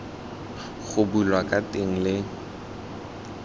go bulwa ka teng le